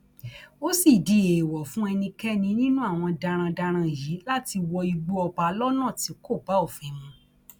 ó sì di èèwọ fún ẹnikẹni nínú àwọn darandaran yìí láti wọ igbó ọba lọnà tí kò bá òfin mu